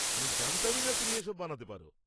আমি জানতামই না তুমি এসব বানাতে পার।